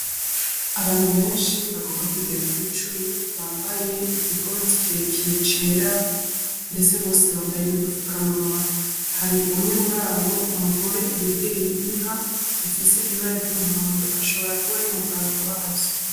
Abantu benshi bagomba kugera kuri cumi bambaye igikoti kirekire cera ndetse bose bambaye n'udufukamunwa hari umwe murabo umugore yegereye inka ifise ibara ry''umuhondo ashobora kuba ari muganga wazo.